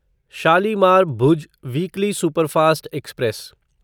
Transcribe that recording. Shalimar Bhuj weekly superfast express